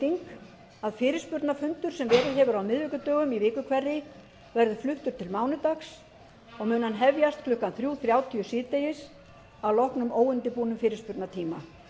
breyting að fyrirspurnafundur sem verið hefur á miðvikudögum í viku hverri verður fluttur til mánudags og mun hann hefjast klukkan þrjú þrjátíu síðdegis að loknum óundirbúnum fyrirspurnatíma